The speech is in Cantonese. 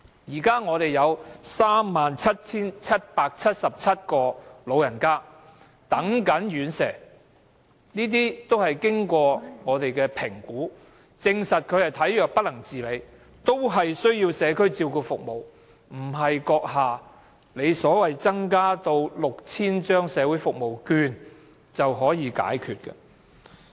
現時有37777個長者正在輪候院舍，他們全是經過評估，證實是體弱不能自理，需要社區照顧服務，不是閣下所說增加6000張社會服務券便能解決。